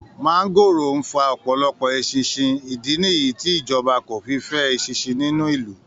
Máńgóòrò ń fa ọ̀pọ̀lọpọ̀ eṣinṣin, ìdí nìyí tí ìjọba kò fi fẹ́ eṣinṣin nínú ìlú